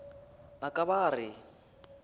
a ka ba a re